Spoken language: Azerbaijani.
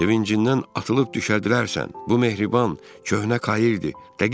Şevincindən atılıb düşədilərsən, bu mehriban köhnə kaırdır.